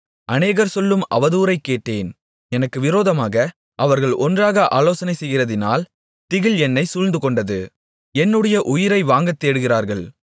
அநேகர் சொல்லும் அவதூறைக் கேட்டேன் எனக்கு விரோதமாக அவர்கள் ஒன்றாக ஆலோசனை செய்கிறதினால் திகில் என்னைச் சூழ்ந்துகொண்டது என்னுடைய உயிரை வாங்கத்தேடுகிறார்கள்